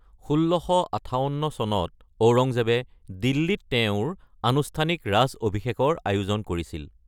১৬৫৮ চনত ঔৰংজেবে দিল্লীত তেওঁৰ আনুষ্ঠানিক ৰাজ অভিষেকৰ আয়োজন কৰে।